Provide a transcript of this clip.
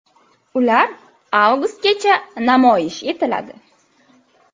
Ular avgustgacha namoyish etiladi.